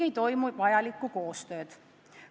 Vajalikku koostööd ei toimu.